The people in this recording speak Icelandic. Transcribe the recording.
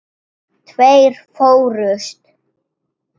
Tveir fórust.